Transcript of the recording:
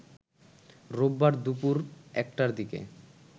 রোববার দুপুর ১টার দিকে